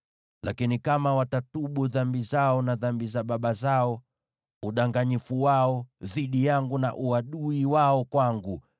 “ ‘Lakini kama watatubu dhambi zao na dhambi za baba zao, udanganyifu wao dhidi yangu na uadui wao kwangu,